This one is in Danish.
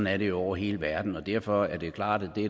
er det jo over hele verden derfor er det klart at